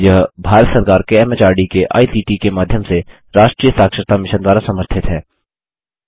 यह भारत सरकार के एमएचआरडी के आईसीटी के माध्यम से राष्ट्रीय साक्षरता मिशन द्वारा समर्थित है